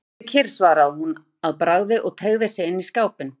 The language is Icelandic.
Nei, sittu kyrr, svaraði hún að bragði og teygði sig inn í skápinn.